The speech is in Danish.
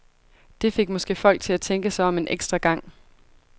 Det fik måske folk til tænke sig om en ekstra gang.